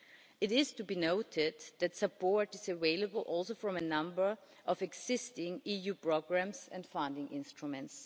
It is to be noted that support is also available from a number of existing EU programmes and funding instruments.